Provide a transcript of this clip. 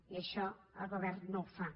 i això el govern no ho fa